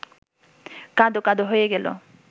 কাঁদো-কাঁদো হয়ে গেল